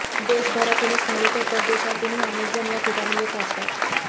देशभरातूनच नव्हे तर परदेशातूनही अनेकजण या ठिकाणी येत असतात